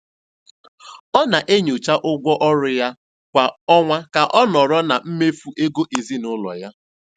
Ọ na-enyocha ụgwọ ọrụ ya kwa ọnwa ka ọ nọrọ na mmefu ego ezinụlọ ya.